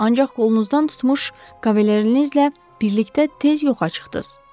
Ancaq qolunuzdan tutmuş kavalernizlə birlikdə tez yoxa çıxdınız.